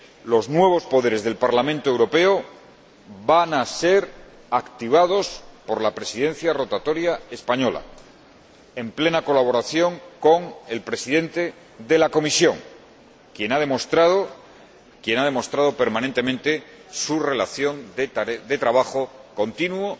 Los nuevos poderes del Parlamento Europeo van a ser activados por la Presidencia rotatoria española, en plena colaboración con el Presidente de la Comisión, quien ha demostrado permanentemente su relación de trabajo continuo